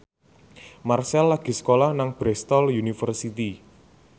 Marchell lagi sekolah nang Bristol university